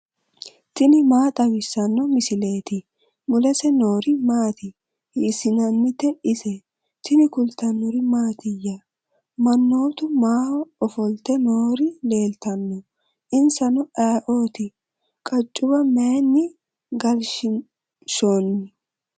tini maa xawissanno misileeti ? mulese noori maati ? hiissinannite ise ? tini kultannori mattiya? manoottu maa ofolitte noori leelittanno? insanno ayiootti? qaccuwa mayiinni galishiinshoonni?